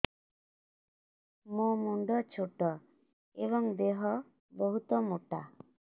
ମୋ ମୁଣ୍ଡ ଛୋଟ ଏଵଂ ଦେହ ବହୁତ ମୋଟା